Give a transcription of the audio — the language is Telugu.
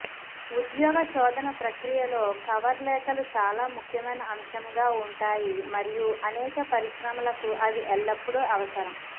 ఉద్యోగ శోధన ప్రక్రియలో కవర్ లేఖలు చాలా ముఖ్యమైన అంశంగా ఉంటాయి మరియు అనేక పరిశ్రమలకు అవి ఎల్లప్పుడూ అవసరం